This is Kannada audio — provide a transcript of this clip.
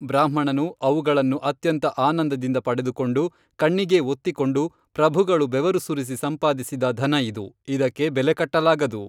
ಬ್ರಾಹ್ಮಣನು ಅವುಗಳನ್ನು ಅತ್ಯಂತ ಆನಂದದಿಂದ ಪಡೆದುಕೊಂಡು ಕಣ್ಣಿಗೇ ಒತ್ತಿಕೊಂಡು ಪ್ರಭುಗಳು ಬೆವರುಸುರಿಸಿ ಸಂಪಾದಿಸಿದ ಧನ ಇದು, ಇದಕ್ಕೆ ಬೆಲೆಕಟ್ಟಲಾಗದು